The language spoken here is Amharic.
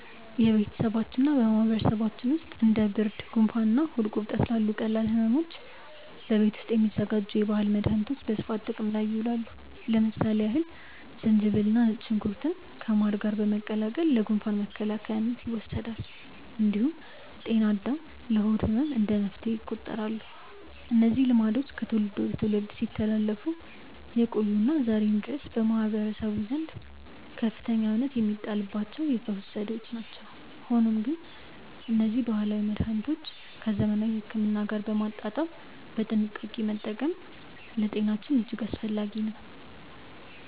በቤተሰባችንና በማህበረሰባችን ውስጥ እንደ ብርድ፣ ጉንፋንና ሆድ ቁርጠት ላሉ ቀላል ሕመሞች በቤት ውስጥ የሚዘጋጁ የባህል መድኃኒቶች በስፋት ጥቅም ላይ ይውላሉ። ለምሳሌ ያህል ዝንጅብልና ነጭ ሽንኩርት ከማር ጋር በመቀላቀል ለጉንፋን መከላከያነት ይወሰዳል። እንዲሁም ጤና አዳም ለሆድ ህመም እንደ መፍትሄ ይቆጠራሉ። እነዚህ ልማዶች ከትውልድ ወደ ትውልድ ሲተላለፉ የቆዩና ዛሬም ድረስ በማህበረሰቡ ዘንድ ከፍተኛ እምነት የሚጣልባቸው የፈውስ ዘዴዎች ናቸው። ሆኖም ግን እነዚህን ባህላዊ መድኃኒቶች ከዘመናዊ ሕክምና ጋር በማጣጣም በጥንቃቄ መጠቀም ለጤናችን እጅግ አስፈላጊ ነው።